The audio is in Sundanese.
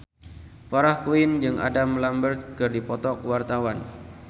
Farah Quinn jeung Adam Lambert keur dipoto ku wartawan